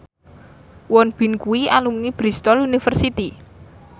Won Bin kuwi alumni Bristol university